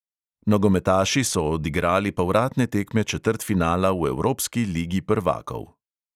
Nogometaši so odigrali povratne tekme četrtfinala v evropski ligi prvakov.